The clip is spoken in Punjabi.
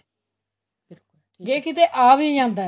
ਜ਼ੇ ਕਿਤੇ ਆ ਵੀ ਜਾਂਦਾ ਹੈ